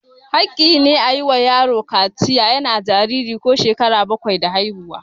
Haƙƙi ne a yi ma yaro kaciya yana jariri ko shekara bakwai da haihuwa.